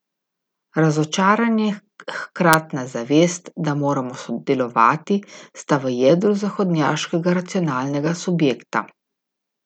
Razočaranje in hkratna zavest, da moramo delovati, sta v jedru zahodnjaškega racionalnega subjekta.